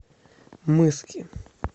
мыски